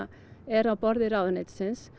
er á borði ráðuneytisins